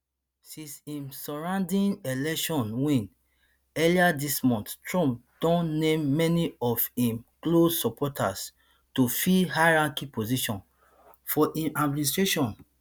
since im resounding election win earlier dis month trump don name many of im close supporters to fill highranking positions for im administration